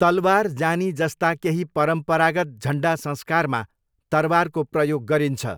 तलवार जानी जस्ता केही परम्परागत झन्डा संस्कारमा तरवारको प्रयोग गरिन्छ।